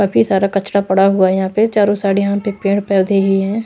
काफी सारा कचड़ा पड़ा हुआ है यहां पे चारों साइड यहां पे पेड़ पौधे ही हैं।